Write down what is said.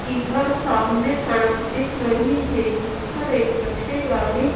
इधर सामने सड़क दिख रही है जिस पर एक कचरे गाड़ी--